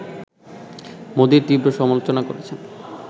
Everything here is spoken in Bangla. মোদির তীব্র সমালোচনা করেছেন